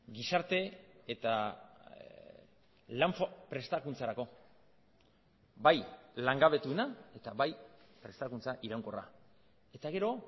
gizarte eta lan prestakuntzarako bai langabetuena eta bai prestakuntza iraunkorra eta gero